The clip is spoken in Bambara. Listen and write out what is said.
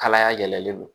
Kalaya yɛlɛlen don